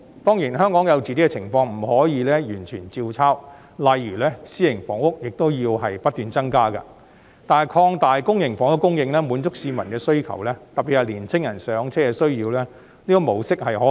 當然，香港有自己的情況，不可能完全照抄，例如私營房屋亦要不斷增加，但擴大公營房屋供應，滿足市民的需要——特別是年輕人"上車"的需要——這個模式是可行的。